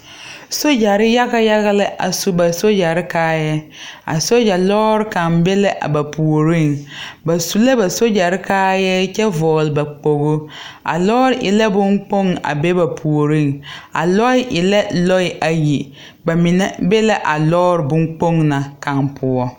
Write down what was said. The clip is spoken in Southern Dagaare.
Soogyɛre yaga yaga la a su ba soogyɛre kaayɛrɛɛ a soogyɛre lɔɔre kaŋ be la a ba puoriŋ ba su la ba soogyɛre kaayɛɛ kyɛ vɔgle ba kpoglo a lɔɔre e la bonkpoŋ a be ba puoriŋ a lɔɛ e la lɔɛ ayi ba mine be la a lɔɔre bonkpoŋ na kaŋ poɔ.